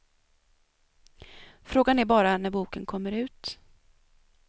Frågan är bara när boken kommer ut.